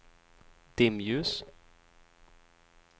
dimljus